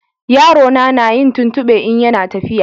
Yarona na yin tuntube in ya na tafiya